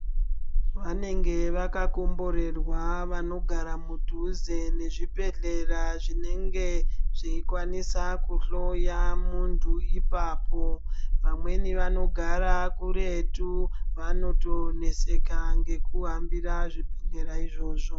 Vanenge vakakomborerwa vanogara mudhuze nezvibhehlera zvinenge zveikwanisa kuhloya muntu ipapo. Vamweni vanogara kuretu vanotoneseka ngekuhambira zvibhehhlera izvozvo.